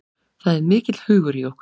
Það er mikill hugur í okkur